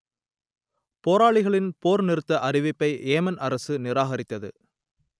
போராளிகளின் போர் நிறுத்த அறிவிப்பை ஏமன் அரசு நிராகரித்தது